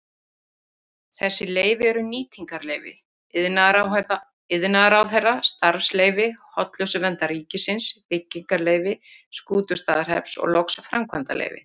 Þessi leyfi eru nýtingarleyfi iðnaðarráðherra, starfsleyfi Hollustuverndar ríkisins, byggingarleyfi Skútustaðahrepps og loks framkvæmdaleyfi.